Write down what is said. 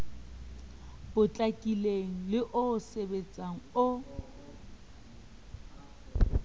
potlakileng le o sebetsehang o